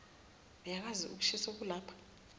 uyakuzwa ukushisa okulapha